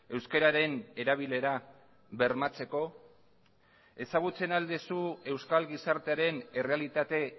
euskararen erabilera bermatzeko ezagutzen al duzu euskal gizartearen errealitate